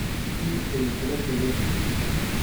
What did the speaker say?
Tii ay ku kala tageen.